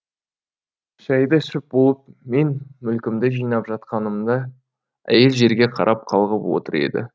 шайды ішіп болып мен мүлкімді жинап жатқанымда әйел жерге қарап қалғып отыр еді